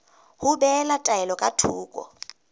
ho behela taelo ka thoko